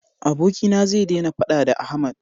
abokina zai dena faɗa da Ahmad